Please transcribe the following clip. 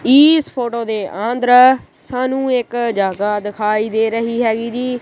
ਇਸ ਫੋਟੋ ਦੇ ਅੰਦਰ ਸਾਨੂੰ ਇੱਕ ਜਗਾ ਦਿਖਾਈ ਦੇ ਰਹੀ ਹੈਗੀ ਜੀ।